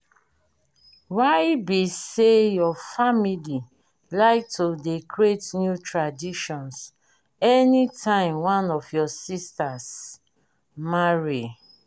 why be say your family like to dey create new traditions any time one of your sistas marry?